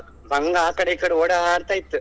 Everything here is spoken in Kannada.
ಮಂಗಾ ಆಕಡೆ ಈಕಡೆ ಓಡಾಡ್ತಾ ಇತ್ತು.